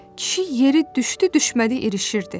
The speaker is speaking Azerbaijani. Kişi yeri düşdü-düşmədi irişirdi.